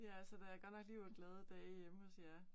Ja, så der er godt nok liv og glade dage hjemme hos jer